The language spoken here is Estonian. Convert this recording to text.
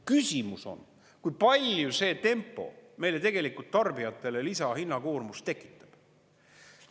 Küsimus on, kui palju see tempo meile tegelikult tarbijatele lisahinnakoormus tekitab.